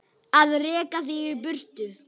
Að reka þig í burtu!